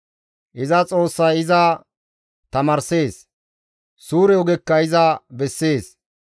Iza Xoossay iza tamaarssees; suure ogekka iza bessees.